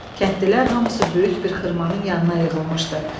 Kəndlilər hamısı böyük bir xırmanın yanına yığılmışdı.